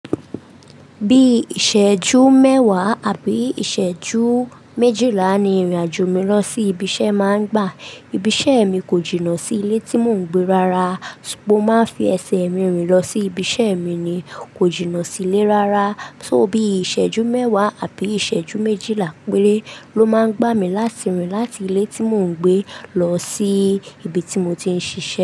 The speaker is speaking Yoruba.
Bí ìṣẹ́jú mẹ́wàá àbí ìṣẹ́jú méjìlá ni ìrìnàjò mi lọ sí ibi iṣẹ́ máa ń gbà. Ibi iṣẹ́ mi kò jìnnà sí ilé tí mò ń gbé rárá. Mo máa ń fi ẹsẹ̀ mi rìn lọ sí ibi iṣẹ́ mi ni kò jìnnà sí ilé rárá. So bí ìṣẹ́jú mẹ́wàá àbí ìṣẹ́jú méjìlá péré ló máa ń gbà mí láti rìn láti ilé tí mò ń gbé lọ sí ibi tí mo ti ń ṣiṣẹ́.